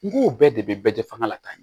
N ko bɛɛ de bɛ bɛɛ fanga la tan